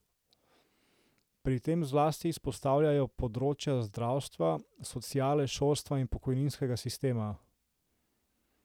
Pri tem zlasti izpostavljajo področja zdravstva, sociale, šolstva in pokojninskega sistema.